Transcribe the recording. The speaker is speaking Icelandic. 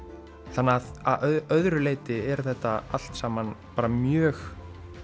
þannig að öðru leyti er þetta allt saman mjög